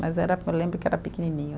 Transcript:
Mas era, eu lembro que era pequenininho.